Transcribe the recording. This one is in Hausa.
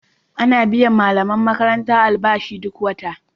Ana biyan malaman makaranta albashi duk wata.